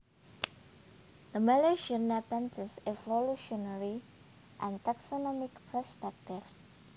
The Malaysian Nepenthes Evolutionary and Taxonomic Perspectives